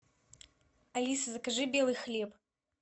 алиса закажи белый хлеб